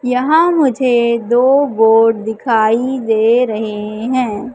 यहां मुझे दो बोर्ड दिखाई दे रहे हैं।